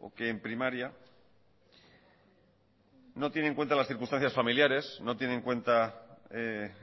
o que en primaria no tiene en cuenta las circunstancias familiares no tiene en cuenta